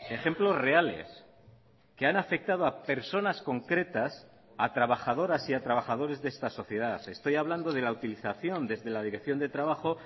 ejemplos reales que han afectado a personas concretas a trabajadoras y a trabajadores de esta sociedad estoy hablando de la utilización desde la dirección de trabajo